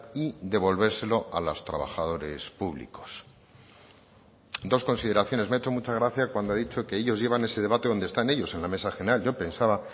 y devolvérselo a los trabajadores públicos dos consideraciones me ha hecho mucha gracia cuando ha dicho que ellos llevan ese debate donde están ellos en la mesa general yo pensaba